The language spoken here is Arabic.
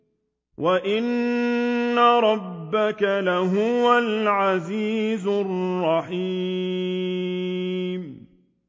وَإِنَّ رَبَّكَ لَهُوَ الْعَزِيزُ الرَّحِيمُ